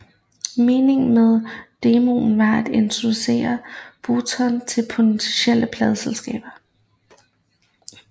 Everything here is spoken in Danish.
Meningen med demoen var at introducere Burton til potentielle pladeselskaber